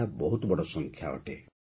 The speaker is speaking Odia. ଏହା ବହୁତ ବଡ଼ ସଂଖ୍ୟା ଅଟେ